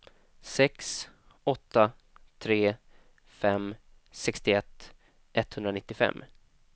sex åtta tre fem sextioett etthundranittiofem